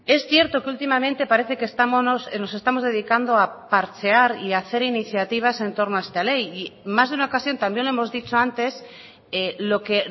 es cierto que últimamente parece que nos estamos dedicando a parchear y hacer iniciativas en torno a esta ley y en más de una ocasión también lo hemos dicho antes lo que